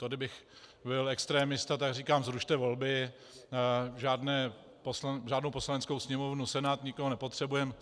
To kdybych byl extremista, tak říkám: Zrušte volby, žádnou Poslaneckou sněmovnu, Senát, nikoho nepotřebujeme.